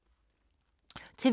TV 2